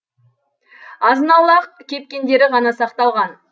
азын аулақ кепкендері ғана сақталған